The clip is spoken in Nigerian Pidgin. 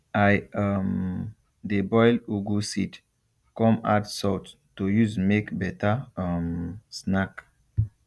i um dey boil ugu seed come add salt to use make better um snack